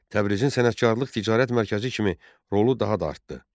Təbrizin sənətkarlıq-ticarət mərkəzi kimi rolu daha da artdı.